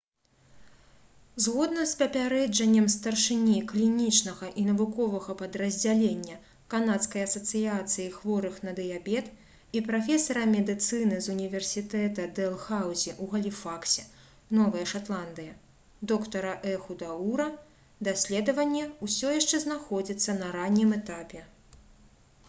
згодна з папярэджаннем старшыні клінічнага і навуковага падраздзялення канадскай асацыяцыі хворых на дыябет і прафесара медыцыны з універсітэта дэлхаўзі ў галіфаксе новая шатландыя доктара эхуда ура даследаванне ўсё яшчэ знаходзіцца на раннім этапе